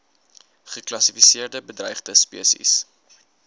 geklassifiseerde bedreigde spesies